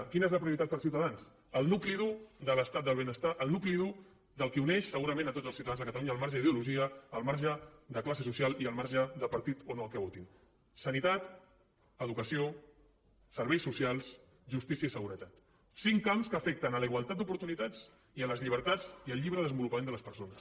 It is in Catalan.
quina és la prioritat per ciutadans el nucli dur de l’estat del benestar el nucli dur del que uneix segurament a tots els ciutadans de catalunya al marge d’ideologia al marge de classe social i al marge de partit o no que votin sanitat educació serveis socials justícia i seguretat cinc camps que afecten la igualtat d’oportunitats i les llibertats i el lliure desenvolupament de les persones